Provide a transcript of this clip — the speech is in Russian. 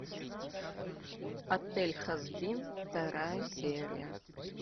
отель хазбин вторая серия